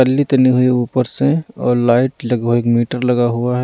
पल्ली तनी हुई ऊपर से और लाइट लही हुई एक मीटर लगा हुआ है।